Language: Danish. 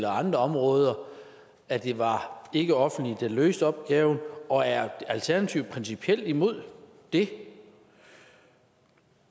andre områder at det var det ikkeoffentlige der løste opgaverne og er alternativet principielt imod det